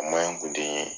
kun tɛ n ye